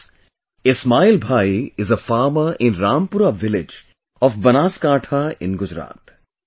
Friends, Ismail Bhai is a farmer in Rampura village of Banaskantha in Gujarat